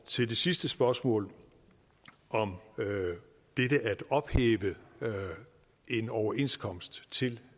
til det sidste spørgsmål om dette at ophæve en overenskomst til